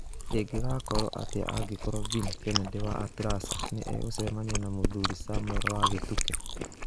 Ĩngĩgakorũo atĩa angĩkorũo Vin Kennedy wa Atlasa nĩ egũcemania na mũthuri Samuel wa Gituke.